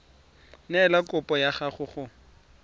neela kopo ya gago go